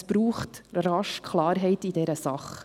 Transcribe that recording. Es braucht rasch Klarheit in dieser Sache.